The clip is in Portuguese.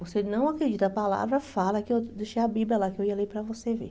Você não acredita a palavra, fala que eu deixei a Bíblia lá, que eu ia ler para você ver.